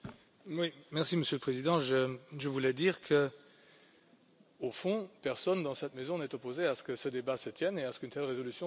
Monsieur le Président, je voulais dire qu'au fond, personne dans cette maison n'est opposé à ce que ce débat se tienne et à ce qu'une telle résolution soit adoptée.